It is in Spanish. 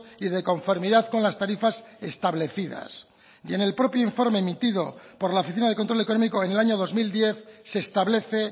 y de conformidad con las tarifas establecidas y en el propio informe emitido por la oficina de control económico en el año dos mil diez se establece